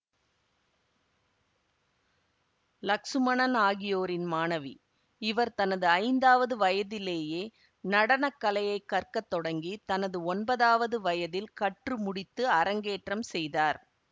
லக்சுமணன் ஆகியோரின் மாணவி இவர் தனது ஐந்தாவது வயதிலேயே நடனக்கலையைக் கற்க தொடங்கி தனது ஒன்பதாவது வயதில் கற்று முடித்து அரங்கேற்றம் செய்தார்